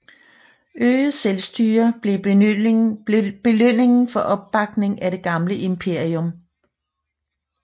Øget selvstyre blev belønningen for opbakningen af det gamle imperium